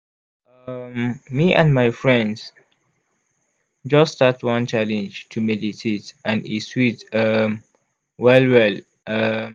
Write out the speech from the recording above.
um me and my friends just start one challenge to meditate and e sweet um well well. um